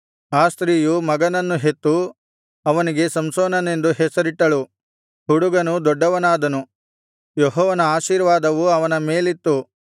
ಆ ಸ್ತ್ರೀಯು ಮಗನನ್ನು ಹೆತ್ತು ಅವನಿಗೆ ಸಂಸೋನನೆಂದು ಹೆಸರಿಟ್ಟಳು ಹುಡುಗನು ದೊಡ್ಡವನಾದನು ಯೆಹೋವನ ಆಶೀರ್ವಾದವು ಅವನ ಮೇಲಿತ್ತು